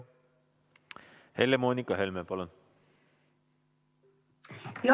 Helle-Moonika Helme, palun!